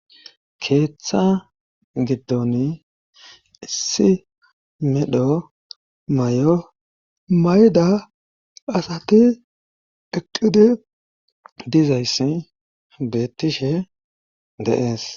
keeththa giddon issi medho mayo mayida asati eqqidi dizayssi beettishe dee'es